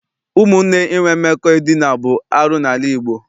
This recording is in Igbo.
Ụmụnne inwe mmekọ edina bụ arụ n'ala Igbo.